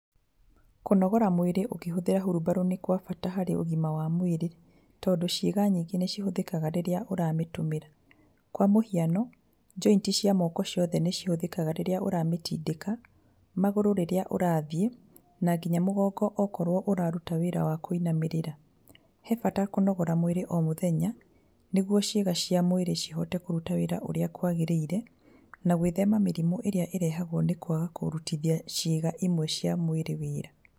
Kũnogora mwĩrĩ ũkĩhũthĩra hurumbarũ nĩ gwa bata harĩ ũgima wa mwĩrĩ, tondũ ciĩga nyingĩ nĩ cihũthĩkaga rĩrĩa ũramĩtũmĩra kwa mũhiano, joint cia moko ciothe nĩ cihũthĩkaga rĩrĩa ũramĩtindĩka, magũrũ rĩrĩa ũrathiĩ, na nginya mũgongo okorwo ũraruta wĩra wa kũinamĩrĩra. He bata kũnogora mwĩrĩ o mũthenya, nĩguo ciĩga cia mwĩrĩ cihote kũruta wĩra ũrĩa kwagĩrĩire, na gwĩthema mĩrimũ ĩrĩa ĩrehagwo nĩ kwaga kũrutithia ciĩga imwe cia mwĩrĩ wĩra.